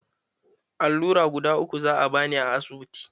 Allura guda uku za'a bani a asibitin.